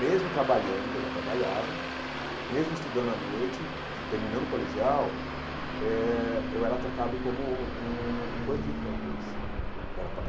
Mesmo trabalhando, que eu já trabalhava, mesmo estudando à noite, terminando o colegial, eh eu era tratado como um um bandido pela polícia.